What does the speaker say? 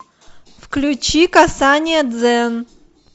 включи касание дзен